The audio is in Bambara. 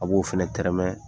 A b'o fɛnɛ tɛrɛmɛ,